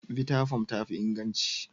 Vttafoam tafi inganci.